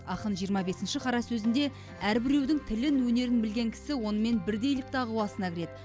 ақын жиырма бесінші қара сөзінде әрбіреудің тілін өнерін білген кісі онымен бірдейлік дағуасына кіреді